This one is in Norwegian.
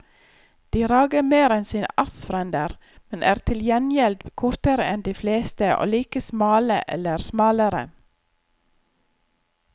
De rager mer enn sine artsfrender, men er til gjengjeld kortere enn de fleste og like smale eller smalere.